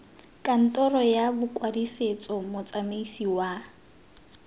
kantoro ya bokwadisetso motsamaisi wa